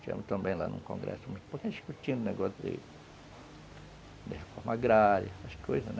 Tivemos também lá num congresso muito pouco discutindo o negócio de reforma agrária, umas coisas, né?